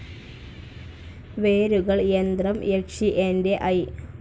വേരുകൾ, യന്ത്രം, യക്ഷി, എന്റെ ഐ.